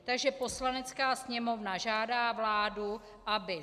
Takže Poslanecká sněmovna žádá vládu, aby